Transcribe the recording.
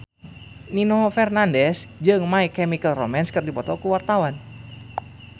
Nino Fernandez jeung My Chemical Romance keur dipoto ku wartawan